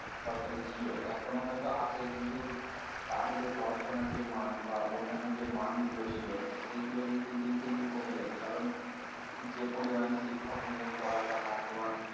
সরকারী ছিল এখনো হয়তো আছে কিন্তু তার যে পড়াশোনার যে মান বা অন্যান্য যে মানগুলো ছিল সেইগুলো কিন্তু দিনকে দিন কমে যাচ্ছে কারণ যে পরিমাণ শিক্ষক নিয়োগ করার কথা তোমার